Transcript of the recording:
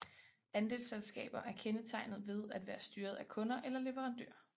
Andelsselskaber er kendetegnet ved at være styret af kunder eller leverandører